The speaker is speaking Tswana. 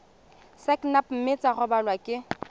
sacnap mme tsa rebolwa ke